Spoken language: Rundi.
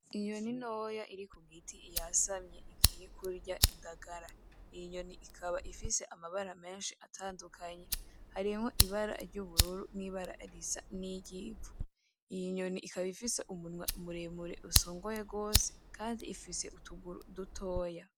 Inyoni ntoya iri ku giti yasamye igiye kurya indagara, iyo nyoni ikaba ifise amabara menshi atandukanye. Harimwo ibara ry'ubururu n'ibara risa n'iryivu. Iyo nyoni ikaba ifise umunwa muremure usongoye gose kandi ikaba ifise utuguru dutoya.